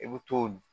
I bɛ t'o